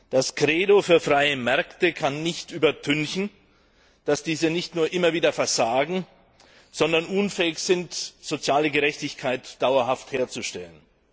Das Credo für freie Märkte kann nicht übertünchen, dass diese nicht nur immer wieder versagen, sondern unfähig sind, soziale Gerechtigkeit dauerhaft herzustellen.